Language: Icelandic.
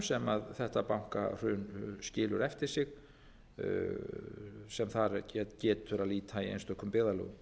sem þetta bankahrun skilur eftir sig sem þar getur að líta í einstökum byggðarlögum